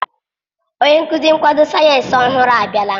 Onye nkuzi nkwado sayensị ọhụrụ abịala.